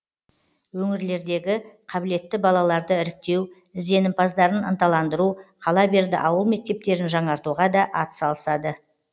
өңірлердегі қабілетті балаларды іріктеу ізденімпаздарын ынталандыру қала берді ауыл мектептерін жаңартуға да атсалысады